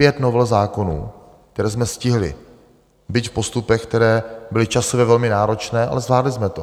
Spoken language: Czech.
Pět novel zákonů, které jsme stihli, byť v postupech, které byly časově velmi náročné, ale zvládli jsme to.